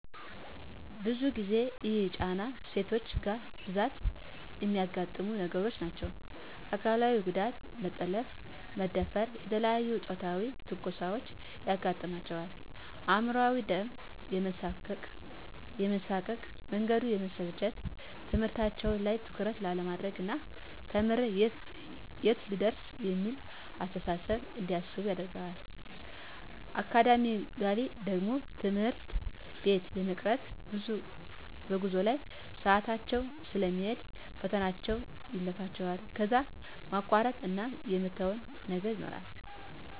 ብዙ ጊዜ ይሄ ጫና ሴቶች ጋ በብዛት እሚያጋጥሙ ነገሮች ናቸዉ። አካላዊ ጉዳት መጠለፍ፣ መደፈር፣ የተለያዬ ፆታዊ ትንኮሳዎች ያጋጥማቸዋል። አእምሯዊ ደሞ የመሳቀቅ፣ መንገዱ የመሰልቸት፣ ትምህርታቸዉ ላይ ትኩረት አለማድረግ ና ተምሬ የት ልደርስ እሚል አስተሳሰብ እንዲያስቡ ያደርጋቸዋል። አካዳሚካሊ ደሞ ትምህርት ቤት የመቅረት፣ በጉዞ ላይ ሰአታቸዉ ስለሚሄድ ፈተናዎች ያልፋቸዋል ከዛ የማቋረጥ እና የመተዉ ነገር ይኖራል።